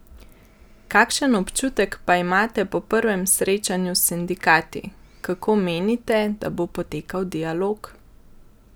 Kakšen občutek pa imate po prvem srečanju s sindikati, kako menite, da bo potekal dialog?